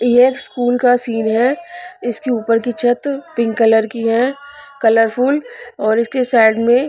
ये एक स्कूल का सीन है इसकी ऊपर की छत पिंक कलर की है कलरफुल और इसके साइड में--